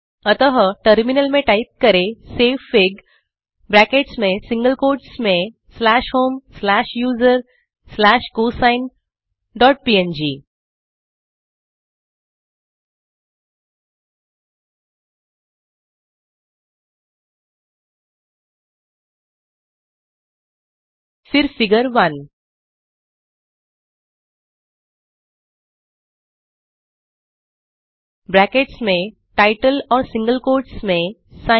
अतः टर्मिनल में टाइप करें सेवफिग ब्रैकेट्स में सिंगल कोट्स में slash home slash user slash cosine dot png फिर फिगर 1 ब्रैकेट्स में टाइटल और सिंगल कोट्स में सिन